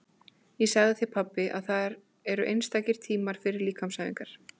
Ég sagði þér pabbi að þar eru sérstakir tímar fyrir líkamsæfingar.